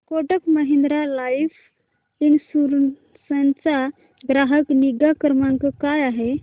Kotak Mahindra life insurance चा ग्राहक निगा क्रमांक काय आहे